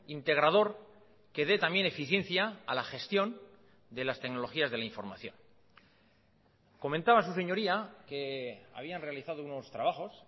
integrador que dé también eficiencia a la gestión de las tecnologías de la información comentaba su señoría que habían realizado unos trabajos